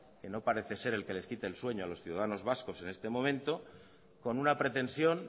que no parece ser el que les quite el sueños a los ciudadanos vascos en este momento con una pretensión